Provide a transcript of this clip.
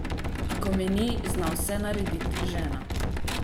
Ko me ni, zna vse naredit žena.